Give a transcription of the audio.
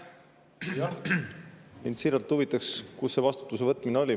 Jah, mind siiralt huvitab, kus see vastutuse võtmine oli.